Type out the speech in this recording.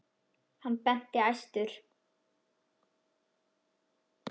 Hann benti æstur.